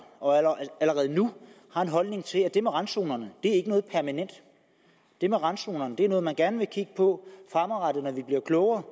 og allerede nu har en holdning til at det med randzonerne ikke er noget permanent det med randzonerne er noget man gerne vil kigge på når vi bliver klogere